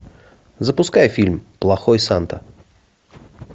запускай фильм плохой санта